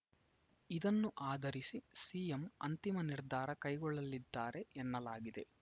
ಇದನ್ನು ಆಧರಿಸಿ ಸಿಎಂ ಅಂತಿಮ ನಿರ್ಧಾರ ಕೈಗೊಳ್ಳಲಿದ್ದಾರೆ ಎನ್ನಲಾಗಿದೆ